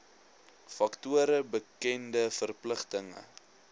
faktore bekende verpligtinge